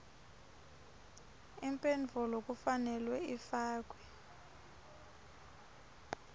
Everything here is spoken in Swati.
imphendvulo kufanele ifakwe